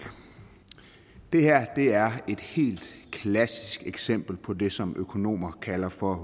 det her er et helt klassisk eksempel på det som økonomer kalder for